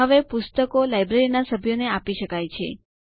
અને પુસ્તકો લાઈબ્રેરીના સભ્યો ને આપી શકાય છે